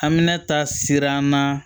Hamina ta siran na